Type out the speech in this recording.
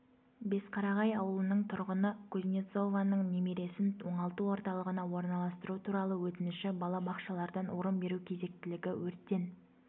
бесқарағай ауылының тұрғыны кузнецованың немересін оңалту орталығына орналастыру туралы өтініші балабақшалардан орын беру кезектілігі өрттен